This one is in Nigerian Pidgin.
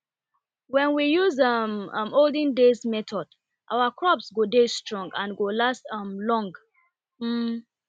wen we use um um olden days method our crop go dey strong and go last um long um